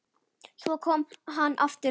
Svo kom hann aftur.